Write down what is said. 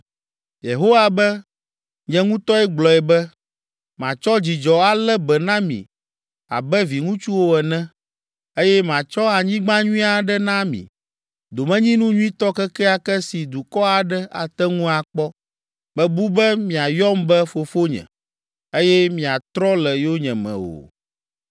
Yehowa be, “Nye ŋutɔe gblɔ be, “ ‘Matsɔ dzidzɔ alé be na mi abe viŋutsuwo ene eye matsɔ anyigba nyui aɖe ana mi, domenyinu nyuitɔ kekeake si dukɔ aɖe ate ŋu akpɔ.’ Mebu be miayɔm be, ‘Fofonye’ eye miatrɔ le yonyeme o.